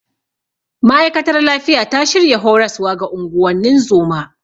Ma'aikatar lafiya ta shirya horaswa ga unguwannin zoma.